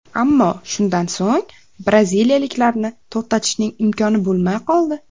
Ammo shundan so‘ng braziliyaliklarni to‘xtatishning imkoni bo‘lmay qoldi.